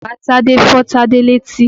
Bàba Tádé fọ́ Tádé létí.